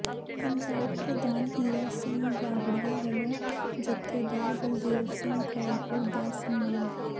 ਪੰਜਾਬ ਪ੍ਰਧਾਨ ਹੀਰਾ ਸਿੰਘ ਗਾਬੜੀਆ ਵਲੋਂ ਜਥੇਦਾਰ ਬਲਦੇਵ ਸਿੰਘ ਕੌਲਪੁਰ ਦਾ ਸਨਮਾਨ